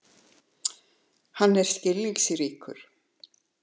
Hann er skilningsríkur.